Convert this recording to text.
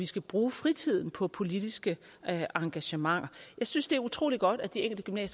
skal bruge fritiden på politiske engagementer jeg synes det er utrolig godt at de enkelte